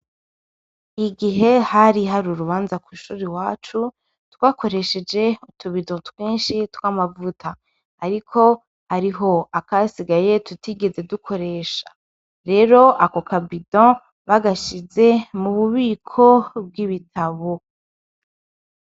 Igihe hari har'urubanza kw'ishure iwacu twakoresheje utubido twinshi tw'amavuta ariko hariho akasigaye tutigeze dukoresha, rero ako kabido bagashize mu bubiko bw'ibitabo.